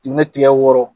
Ni tigɛ wɔɔrɔ